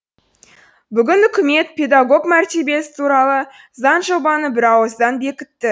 бүгін үкімет педагог мәртебесі туралы заңжобаны бірауыздан бекітті